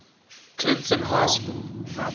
clinton high school